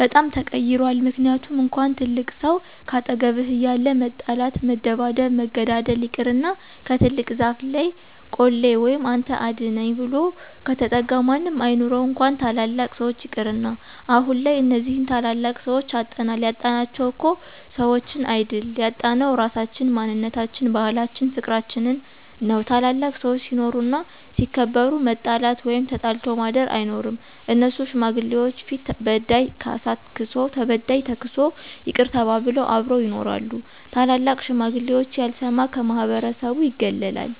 በጣም ተቀይሯል ምክንያቱም እንኳን ትልቅ ሰው ካጠገብህ እያለ መጣላት መደባደብ መገዳደል ይቅርና ከትልቅ ዛፍ ለይ ቆሌ ወይም አንተ አድነኝ ብሎ ከተጠጋ ማንም አይኑረው እንኳን ታላላቅ ሰዎች ይቅርና። አሁንላይ እነዚህን ታላላቅ ሰዎች አጠናል ያጣናቸው እኮ ሰዎችን አይድል ያጣነው ራሳችን፣ ማንነታችን፣ ባህላችን ፍቅርችንን ነው። ታላላቅ ሰዎች ሲኖሩ እና ሲከበሩ መጣላት ወይም ተጣልቶ ማድር አይኖርም እነሱ ሽማግሌዎች ፊት በዳይ ካሳ ክሶ ተበዳይ ተክሶ ይቅር ተባብለው አብረው ይኖራሉ። ታላላቅ ሽማግሌዎች ያልሰማ ከማህበረሰቡ ይገለላል